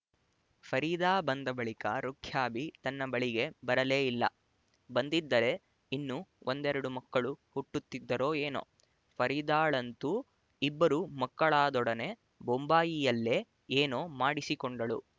ಫರೀದಾ ಬಂದ ಬಳಿಕ ರುಖ್ಯಾಬಿ ತನ್ನ ಬಳಿಗೆ ಬರಲೇ ಇಲ್ಲ ಬಂದಿದ್ದರೆ ಇನ್ನೂ ಒಂದೆರಡು ಮಕ್ಕಳು ಹುಟ್ಟುತ್ತಿದ್ದರೊ ಏನೊ ಫರೀದಾಳಂತೂ ಇಬ್ಬರು ಮಕ್ಕಳಾದೊಡನೆ ಬೊಂಬಾಯಿಯಲ್ಲೆ ಏನೊ ಮಾಡಿಸಿಕೊಂಡಳು